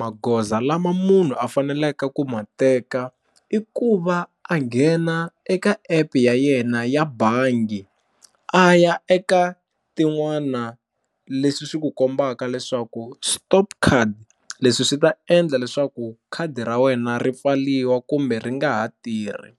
Magoza lama munhu a faneleke ku ma teka i ku va a nghena eka app ya yena ya bangi a ya eka tin'wana leswi swi ku kombaka leswaku stop card leswi swi ta endla leswaku khadi ra wena ri pfariwa kumbe ri nga ha tirhi,